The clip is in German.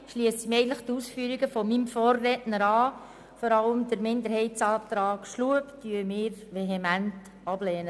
Ich schliesse mich den Ausführungen meines Vorredners an.